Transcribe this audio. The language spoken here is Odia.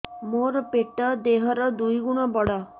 ମୋର ପେଟ ଦେହ ର ଦୁଇ ଗୁଣ ବଡ